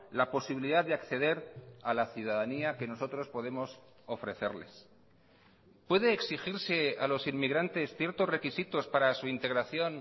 la posibilidad de acceder a la ciudadanía que nosotros podemos ofrecerles puede exigirse a los inmigrantes ciertos requisitos para su integración